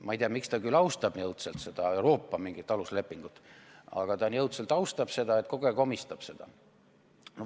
Ma ei tea, miks ta küll austab nii õudselt seda mingit Euroopa aluslepingut, aga ta nii õudselt austab seda, et kogu aeg omistab seda sellele.